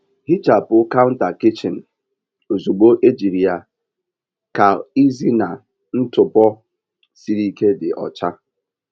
Hichapụ counter kichin ozugbo ejiri ya ka ịzena ntụpọ siri ike dị ọcha.